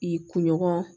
I kunɲɔgɔn